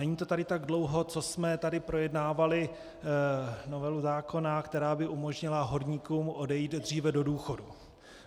Není to tady tak dlouho, co jsme tady projednávali novelu zákona, která by umožnila horníkům odejít dříve do důchodu.